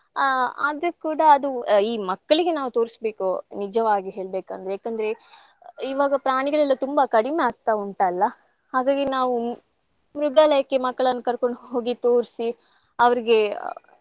ಆ ಆದ್ರು ಕೂಡಾ ಅದು ಈ ಮಕ್ಕಳಿಗೆ ನಾವ್ ತೋರಸ್ಬೇಕು ನಿಜವಾಗಿ ಹೇಳ್ಬೆಕಂದ್ರೆ ಯಾಕಂದ್ರೆ ಇವಾಗ ಪ್ರಾಣಿಗಳೆಲ್ಲಾ ತುಂಬಾ ಕಡಿಮೆ ಆಗ್ತಾ ಉಂಟಲ್ಲಾ ಹಾಗಾಗಿ ನಾವು ಮೃಗಾಲಯಕ್ಕೆ ಮಕ್ಕಳನ್ ಕರ್ಕೊಂಡ್ ಹೋಗಿ ತೋರ್ಸಿ ಅವ್ರಿಗೆ.